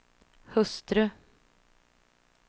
hustru